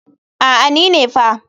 A'a ni ne fa.